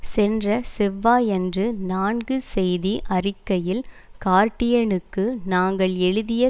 சென்ற செவ்வாயன்று நான்கு செய்தி அறிக்கையில் கார்டியனுக்கு நாங்கள் எழுதிய